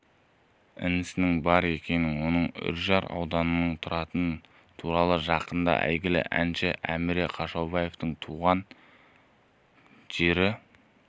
інісінің бар екені оның үржар ауданында тұратыны туралы жақында әйгілі әнші әміре қашаубаевтың туған жері